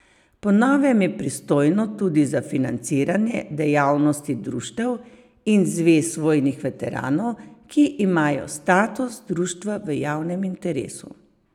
Po novem je pristojno tudi za financiranje dejavnosti društev in zvez vojnih veteranov, ki imajo status društva v javnem interesu.